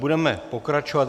Budeme pokračovat.